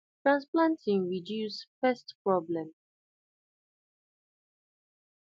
transplanting reduce pest problem